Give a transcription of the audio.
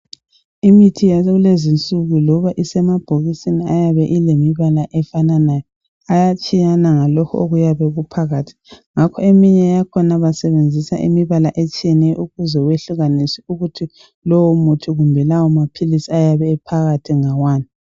Imithi yakulezinsuku loba isemabhokisini ayabe elemibala efananayo, ayatshiyana ngalokhu okuyabe kuphakathi. Ngakho eminye yakhona basebenzisa imibala etshiyeneyo ukuze wehlukanise ukuthi lowo muthi kumbe lawo maphilisi ayabe ephakathi ngawani.